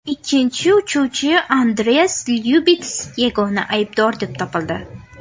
Ikkinchi uchuvchi Andreas Lyubits yagona aybdor deb topildi.